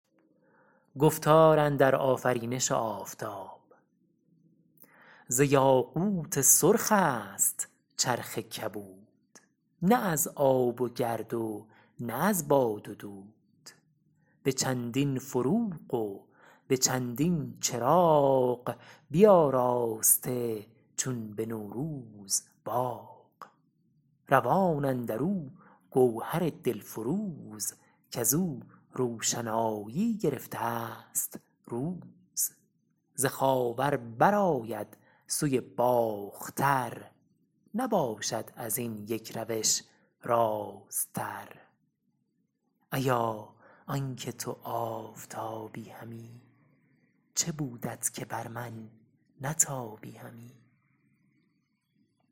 ز یاقوت سرخ است چرخ کبود نه از آب و گرد و نه از باد و دود به چندین فروغ و به چندین چراغ بیاراسته چون به نوروز باغ روان اندر او گوهر دل فروز کز او روشنایی گرفته است روز ز خاور بر آید سوی باختر نباشد از این یک روش راست تر ایا آن که تو آفتابی همی چه بودت که بر من نتابی همی